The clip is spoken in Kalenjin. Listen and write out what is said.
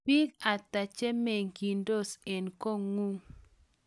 biik ata che meng'isot eng' kotng'ung?